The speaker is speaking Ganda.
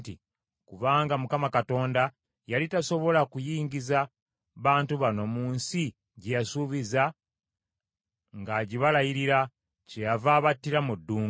‘Kubanga Mukama Katonda yali tasobola kuyingiza bantu bano mu nsi gye yabasuubiza ng’agibalayirira; kyeyava abattira mu ddungu.’